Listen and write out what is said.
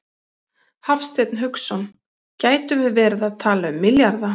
Hafsteinn Hauksson: Gætum við verið að tala um milljarða?